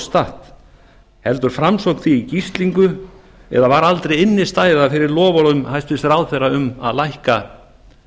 statt heldur framsókn því í gíslingu eða var aldrei innstæða fyrir loforðum hæstvirtur ráðherra um að lækka